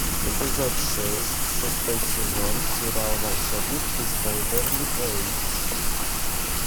эпизод шесть шестой сезон сериал волшебники из вэйверли плэйс